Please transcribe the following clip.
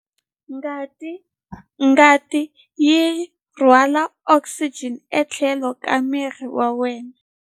Ngati yi rhwala okisijeni etlhelo ka miri wa wena